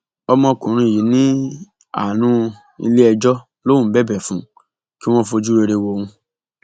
ọmọkùnrin yìí ní àánú iléẹjọ lòún ń bẹbẹ fún kí wọn fojú rere wo òun